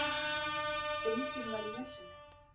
Enginn var í húsinu